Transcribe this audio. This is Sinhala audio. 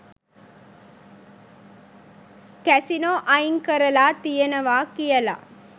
කැසිනෝ අයින් කරලා තියෙනවා කියලා.